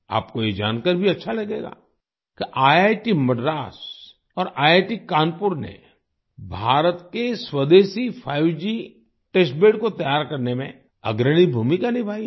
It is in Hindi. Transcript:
आपको ये जानकर भी अच्छा लगेगा कि ईआईटी मद्रास और ईआईटी कानपुर ने भारत के स्वदेशी 5G टेस्ट बेद को तैयार करने में अग्रणी भूमिका निभाई है